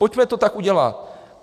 Pojďme to tak udělat.